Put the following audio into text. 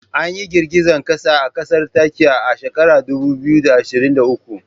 Anyi girgizan kasa a kasar Turkiya ah shekarar dubu biyu da ashirin da uku